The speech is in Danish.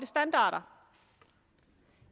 standarder